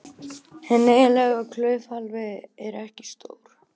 Hinn eiginlegi klaufhali er ekki stór.